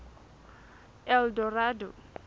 eldorado